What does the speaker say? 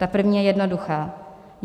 Ta první je jednoduchá: